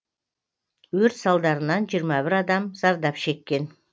өрт салдарынан жиырма бір адам зардап шеккен